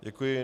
Děkuji.